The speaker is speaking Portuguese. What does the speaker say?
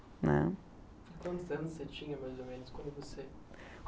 né. Quantos anos você tinha, mais ou menos, quando você